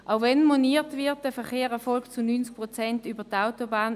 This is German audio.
Auch wenn moniert wird, der Verkehr erfolge zu 90 Prozent über die Autobahn: